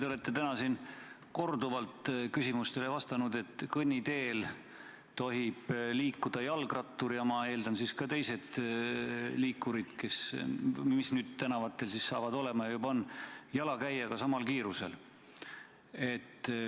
Te olete täna siin korduvalt küsimustele vastanud, et kõnniteel tohib liikuda jalgrattur – ja ma eeldan, et ka teised liikurid, mis tänavatel saavad olema ja juba on – jalakäijaga samal kiirusel.